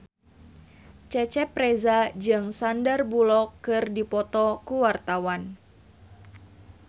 Cecep Reza jeung Sandar Bullock keur dipoto ku wartawan